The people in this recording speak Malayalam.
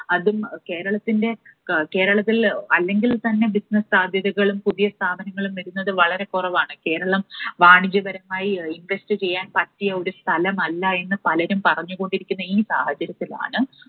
അതും കേരളത്തിൻറെ, കേരളത്തിൽ അല്ലെങ്കിൽ തന്നെ business സാധ്യതകളും പുതിയ സ്ഥാപനങ്ങളും വരുന്നത് വളരെ കുറവാണ്. കേരളം വാണിജ്യപരമായി invest ചെയ്യാൻ പറ്റിയ ഒരു സ്ഥലം അല്ല എന്ന് പലരും പറഞ്ഞുകൊണ്ടിരിക്കുന്ന ഈ സാഹചര്യത്തിലാണ്